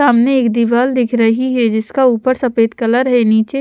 सामने एक दिवाल दिख रही है जिसका ऊपर सफेद कलर है नीचे--